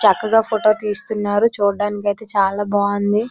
చక్కగా ఫొటో తీస్తున్నారు చూడ్డానికైతే చాలా బాగుంది.